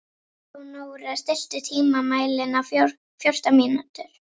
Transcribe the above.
Leónóra, stilltu tímamælinn á fjórtán mínútur.